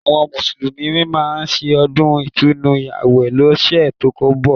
Àwọn Mùsùlùmí máa ṣe ọdún Ìtúnu àwẹ̀ lọ́sẹ̀ tó ń bọ̀